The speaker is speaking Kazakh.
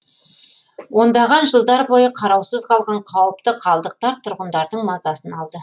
ондаған жылдар бойы қараусыз қалған қауіпті қалдықтар тұрғындардың мазасын алды